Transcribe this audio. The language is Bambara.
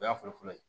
O y'a fɔlɔfɔlɔ ye